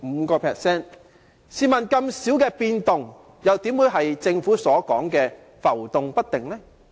試問這麼少的變動，怎會是政府所說的浮動不定呢？